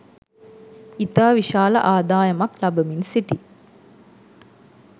ඉතා විශාල ආදායමක් ලබමින් සිටී